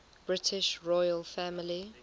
british royal family